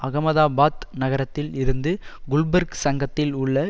அஹமதாபாத் நகரத்தில் இருந்து குல்பர்க் சங்கத்தில் உள்ள